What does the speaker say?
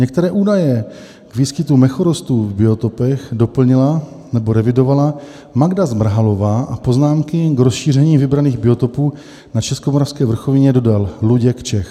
Některé údaje k výskytu mechorostů v biotopech doplnila nebo revidovala Magda Zmrhalová a poznámky k rozšíření vybraných biotopů na Českomoravské vrchovině dodal Luděk Čech.